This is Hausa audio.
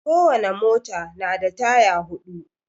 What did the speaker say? Kowane mota na da taya huɗu